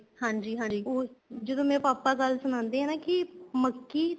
ਹਾਂਜੀ ਹਾਂਜੀ ਜਦੋਂ ਮੇਰੇ papa ਗੱਲ ਸੁਣਾਦੇ ਹੈ ਕੀ ਮੱਕੀ